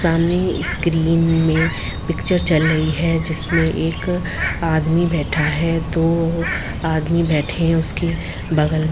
सामने इस्क्रीन में पिक्चर चल रही है जिसमें एक अ आदमी बैठा है दो आदमी बैठे हैं उसके बगल में--